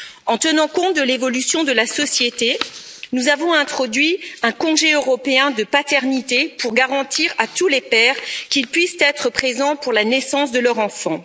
En tenant compte de l'évolution de la société, nous avons introduit un congé européen de paternité pour garantir à tous les pères qu'ils puissent être présents pour la naissance de leur enfant.